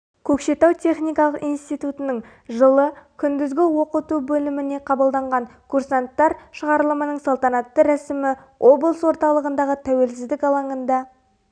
көкшетау техникалық институтының жылы күндізгі оқыту бөліміне қабылданған курсанттар шығарылымының салтанатты рәсімі облыс орталығындағы тәуелсіздік алаңында